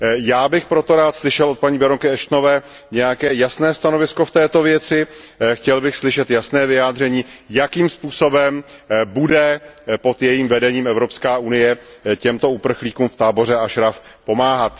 Já bych proto rád slyšel od paní baronky Ashtonové nějaké jasné stanovisko v této věci, chtěl bych slyšet jasné vyjádření, jakým způsobem bude pod jejím vedením Evropská unie těmto uprchlíkům v táboře Ašraf pomáhat.